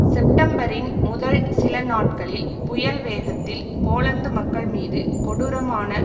செப்டம்பரின் முதல் சில நாட்களில் புயல் வேகத்தில் போலந்து மக்கள் மீது கொடூரமான